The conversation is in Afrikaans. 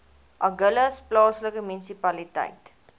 agulhas plaaslike munisipaliteit